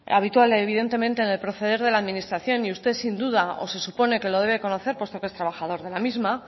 y evidentemente en el proceder de la administración y usted sin duda o se supone que lo debe conocer puesto que es trabajador de la misma